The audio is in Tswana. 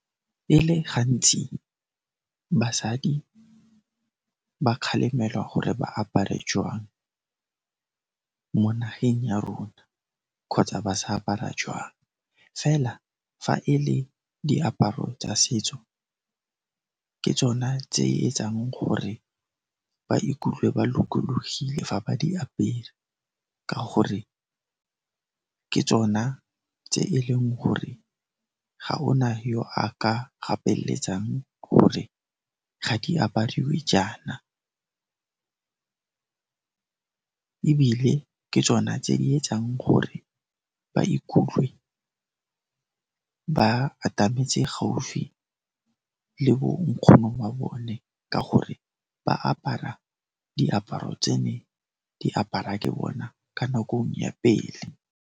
E le gantsi basadi ba kgalemelwa gore ba apare jwang mo nageng ya rona kgotsa ba sa apara jwang, fela fa e le diaparo tsa setso ke tsone tse e etsang gore ba ikutlwe ba lokologile fa ba di apere ka gore ke tsona tse e leng gore ga o na yo a ka gapeletsang gore ga di apariwe jaana ebile ke tsona tse di etsang gore ba ikutlwe ba atametse gaufi le bo nkgono ba bone ka gore ba apara diaparo tse ne di apara ke bona ka nakong ya pele.